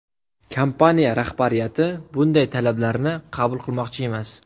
Kompaniya rahbariyati bunday talablarni qabul qilmoqchi emas.